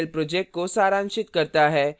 यह spoken tutorial project को सारांशित करता है